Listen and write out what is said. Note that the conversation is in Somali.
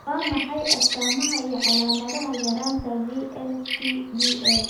Waa maxay astamaha iyo calaamadaha yaraanta VLCAD?